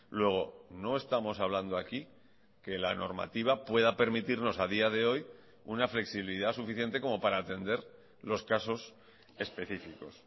luego no estamos hablando aquí que la normativa pueda permitirnos a día de hoy una flexibilidad suficiente como para atender los casos específicos